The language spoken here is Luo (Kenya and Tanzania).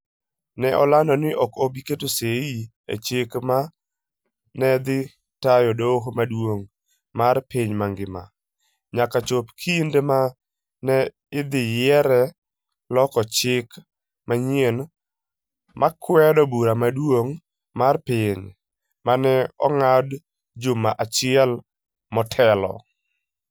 Ne olando ni ok obi keto sei e chik ma ne dhi tayo Doho Maduong ' mar Piny mangima, nyaka chop kinde ma ne idhi yiere loko chik manyien ma nokwedo Bura Maduong ' mar Piny, ma ne ong'ad juma achiel motelo.